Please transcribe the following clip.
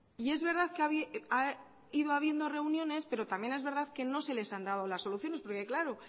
y es verdad que ha ido habiendo reuniones pero también es verdad que no se les han dado las soluciones porque claro